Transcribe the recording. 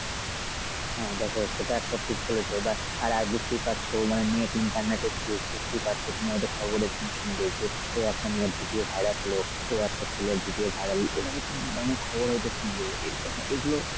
হ্যাঁ দেখ সেটা একটা ঠিক বলেছো এবার আর বুঝতেই পাচ্ছো মানে net internet এর যুগ দেখতেই পাচ্ছো তুমি হয়ত খবরে এরকম শুনবে যে ওই একটা মেয়ের video viral হল ও একটা ছেলের video viral হল মানে তুমি কিন্তু অনেক খবর হয়ত শুনবে এ~ এই গুলো